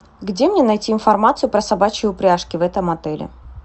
где мне найти информацию про собачьи упряжки в этом отеле